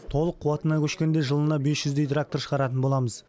толық қуатына көшкенде жылына бес жүздей трактор шығаратын боламыз